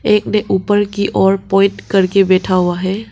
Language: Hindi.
एक ने ऊपर की ओर प्वाइंट करके बैठा हुआ है।